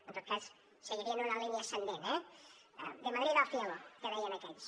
en tot cas seguirien una línia ascendent eh de madrid al cielo que deien aquells